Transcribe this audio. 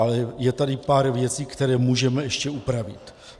Ale je tady pár věcí, které můžeme ještě upravit.